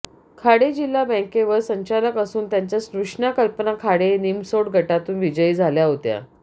खाडे जिल्हा बॅंकेवर संचालक असून त्यांच्या स्नुषा कल्पना खाडे निमसोड गटातून विजयी झाल्या होत्या